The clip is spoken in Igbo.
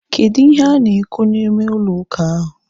Kedụ ihe ha na-ekwu n'ime ụlọ ụka ahu?